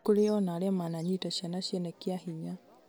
nĩ kũrĩ ona arĩa mananyita ciana ciene kĩa hinya